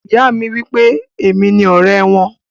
Ìyá mi wípé èmi ni ọrẹ wọn.